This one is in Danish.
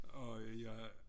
Og jeg